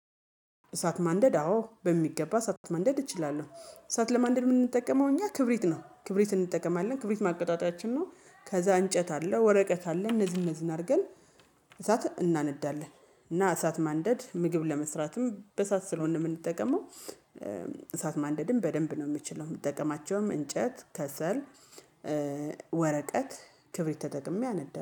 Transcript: እሳት ማንደድ አዎ በሚገባ እሳት ማንደድ እችላለሁ እሳት ለማንደድ ምን እንጠቀመው እኛ ክብሪት ነው ክብሪት እንጠቀማለን ክብሪት ማቀጣጣት ነው። ከዛ እንጨት አለ ወረቀት አለ እነዚህን እነዚህን አድርገን እሳትን እናነዳለን። እና እሳት ማንደድ ምግብ ለመስራትም በእሳት ስለሆነ የምንጠቀመው። እሳት ማንደድም በደንብ ነው የምችለው የምትጠቀማቸውም እንጨት ከሰል። ወረቀት ክብሪት ተጠቅሜ አነዳ